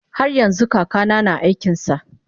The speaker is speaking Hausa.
haryanxu kakana na aikinsa